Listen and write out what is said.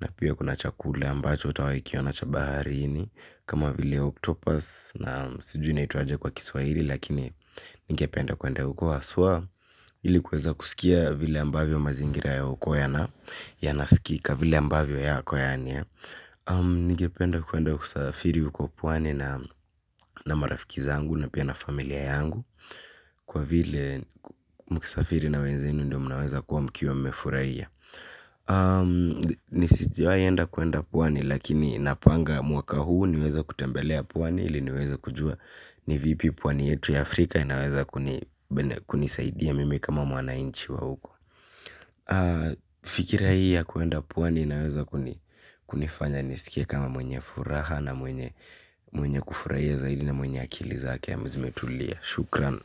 Na pia kuna chakula ambacho utawai kiona cha baharini. Kama vile octopus na sijui inaitwaje kwa kiswaili. Lakini nigependa kuenda uko asua. Ili kweza kusikia vile ambavyo mazingira ya ukua ya na ya nasikika vile ambavyo yako yani. Nigependa kuenda kusafiri ukua puwani na marafiki zangu na pia na familia yangu. Kwa vile mkisafiri na wenzenu ndio mnaweza kuwa mkiwa mefuraiya. Nisijua yenda kuenda puwani lakini napanga mwaka huu niweza kutembelea puani hili niweza kujua ni vipi puwani yetu ya Afrika inaweza kunisaidia mimi kama mwanainchi wa huko fikira hii ya kuenda puwani inaweza kunifanya nisikie kama mwenye furaha na mwenye mwenye kufurahia zaidi na mwenye akili zake ya mzimetulia. Shukran.